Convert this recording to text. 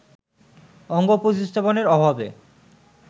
অঙ্গ প্রতিস্থাপনের অভাবে